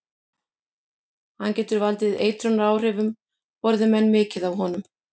Hann getur valdið eitrunaráhrifum borði menn mikið af honum.